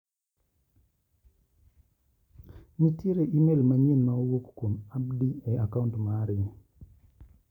Nitiere imel manyien ma owuok kuom Abdi e a kaunt mari.